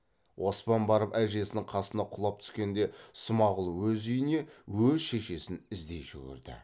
оспан барып әжесінің қасына құлап түскенде смағұл өз үйіне өз шешесін іздей жүгірді